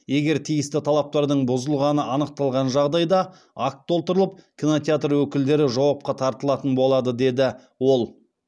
егер тиісті талаптардың бұзылғаны анықталған жағдайда акт толтырылып кинотеатр өкілдері жауапқа тартылатын болады деді ол